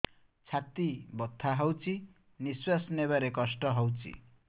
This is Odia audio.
ଛାତି ବଥା ହଉଚି ନିଶ୍ୱାସ ନେବାରେ କଷ୍ଟ ହଉଚି